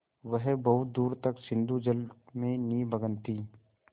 वह बहुत दूर तक सिंधुजल में निमग्न थी